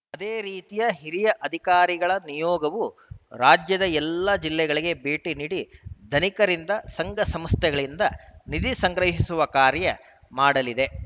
ಅದೇ ರೀತಿಯ ಹಿರಿಯ ಅಧಿಕಾರಿಗಳ ನಿಯೋಗವು ರಾಜ್ಯದ ಎಲ್ಲಾ ಜಿಲ್ಲೆಗಳಿಗೆ ಭೇಟಿ ನೀಡಿ ಧನಿಕರಿಂದ ಸಂಘ ಸಂಸ್ಥೆಗಳಿಂದ ನಿಧಿ ಸಂಗ್ರಹಿಸುವ ಕಾರ್ಯ ಮಾಡಲಿದೆ